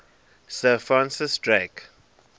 sir francis drake